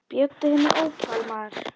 Bjóddu henni ópal, maður.